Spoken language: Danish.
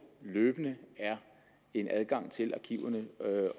løbende er en adgang til aktiverne